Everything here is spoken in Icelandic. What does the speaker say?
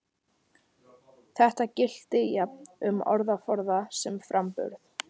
Þetta gilti jafnt um orðaforða sem framburð.